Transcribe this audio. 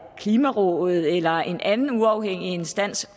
klimarådet eller en anden uafhængig instans